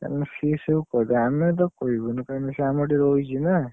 କାରଣ ସିଏ ସବୁ କହିଦବ ଆମେ ତାକୁ, କହିବୁନୁ କାରଣ ସିଏ ଆମ ଏଠି ରହୁଛି ନା।